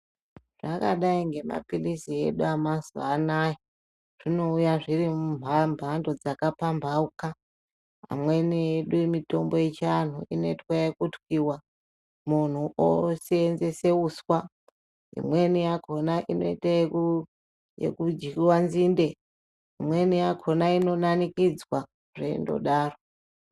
Zvakadai nemapirizi edu emazuwa edu anaya, zvinouya zviri mumbando dzaka pambahuka amweni edu mitombo yechianhu inoitwa ekutwiwa munhu oseenzese uswa imweni yakhona inoite eku, ekudyiwe nzinde imweni yakhona inonanikidza zveindodaro.